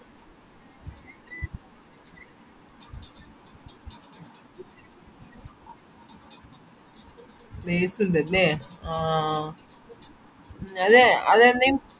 place ഇണ്ടല്ലേ ആ അതെ അത് എന്നേം